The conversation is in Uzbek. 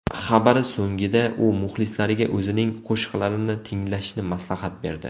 Xabari so‘ngida u muxlislariga o‘zining qo‘shiqlarini tinglashni maslahat berdi.